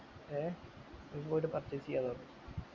ഏർ ഇങ്ങോട് purchase ചെയ്യാ പറഞ്ഞു